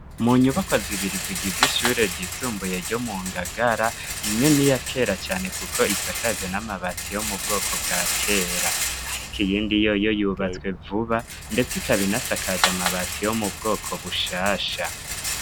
Mu nyubakwa zibiri zigize ishure ryisumbuye ryo mu Ngagara, imwe ni iya kera cane kuko isakaje n'amabati yo mu bwoko bwa kera. Ariko iyindi yoyo yubatswe vuba, ndetse ikaba inasakaje amabati yo mu bwoko bushasha.